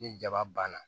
Ni jaba banna